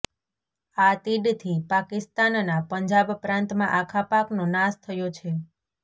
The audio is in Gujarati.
આ તીડથી પાકિસ્તાનના પંજાબ પ્રાંતમાં આખા પાકનો નાશ થયો છે